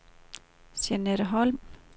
Jeanette Holm